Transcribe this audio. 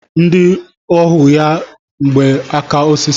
Ndị ohu ya yi mgba aka osisi.